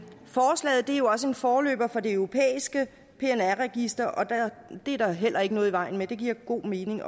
også en forløber for det europæiske pnr register og det er der heller ikke noget i vejen med det giver god mening